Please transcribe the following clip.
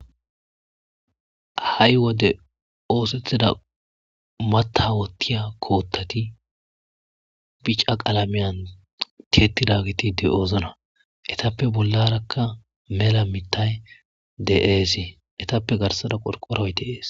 Ha7i wode oosethida mata wotiya koottati bica qaalameyan tietida giti de'oozna etappe bollarakka mela mitay de'ees etappe garsada qolqoroydes